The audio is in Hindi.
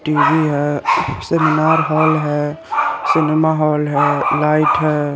टीवी है सिल्मार हॉल है सिनेमा हॉल लाइट है ।